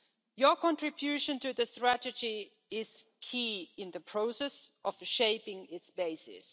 Your contribution to the strategy is key in the process of shaping its basis.